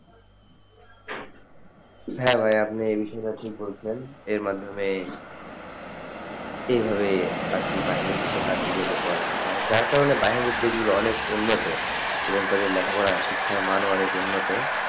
হ্যাঁ, ভায়া আপনি এই বিষয়টা ঠিক বলছেন এর মাধ্যমে এই ভাবে আরকি বাইরে দেশের country তে পড়াশোনা হয় যার কারণে বাইরের দেশ গুলো অনেক উন্নত এবং তাদের লেখাপড়া শিক্ষামান অনেক উন্নত,